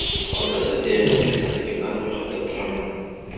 Hozirda diabet kasalligi bilan ro‘yxatda turaman.